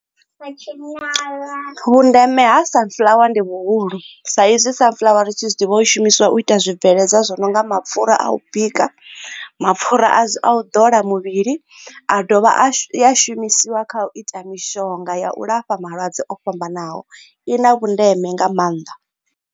Kha tshinyala vhundeme ha sunflower ndi vhuhulu saizwi sunflower ri tshi zwiḓivha u shumiswa u ita zwibveledzwa zwi no nga mapfhura a u bika mapfura a u ḓola muvhili a dovha a shumisiwa kha u ita mishonga ya u lafha malwadze o fhambananaho i na vhundeme nga maanḓa.